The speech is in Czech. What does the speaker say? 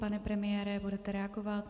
Pane premiére, budete reagovat?